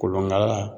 Kolonkala